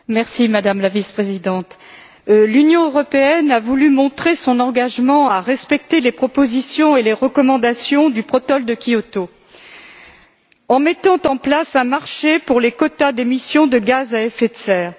Madame la Présidente, Madame la Vice présidente, l'Union européenne a voulu montrer son engagement à respecter les propositions et les recommandations du protocole de Kyoto, en mettant en place un marché pour les quotas d'émissions de gaz à effet de serre.